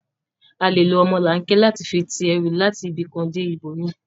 À lé ló ọmọlanke làti fi ti èrú làti ibikán dé ibómi